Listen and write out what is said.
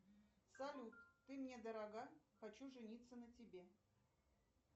салют ты мне дорога хочу жениться на тебе